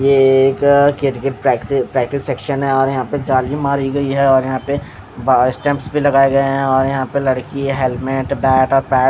ये एक क्रिकेट प्रा प्रैक्टिस सेक्शन है और यहाँ पे जाली मरी गयी है यहाँ पे बहार स्टेप्स भी लगाए गए है यहाँ पे लड़की है हेलमेट बैट और पैड --